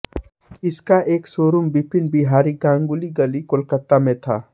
इसका एक शोरूम बिपिन बिहारी गांगुली गली कोलकाता में था